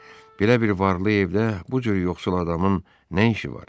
Belə bir varlı evdə bu cür yoxsul adamın nə işi var?